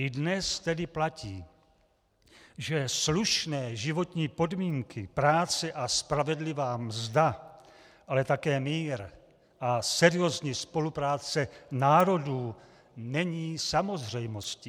I dnes tedy platí, že slušné životní podmínky, práce a spravedlivá mzda, ale také mír a seriózní spolupráce národů není samozřejmostí.